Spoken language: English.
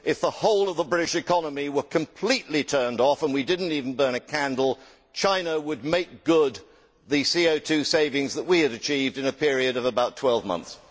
If the whole of the British economy were completely turned off and we did not even burn a candle, China would make good the CO savings that we had achieved in a period of about 12 months.